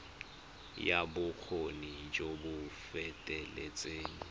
ya bokgoni jo bo feteletseng